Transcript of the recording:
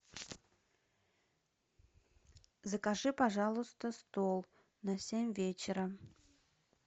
закажи пожалуйста стол на семь вечера